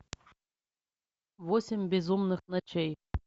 восемь безумных ночей